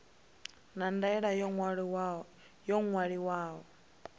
na ndaela yo tou ṅwaliwaho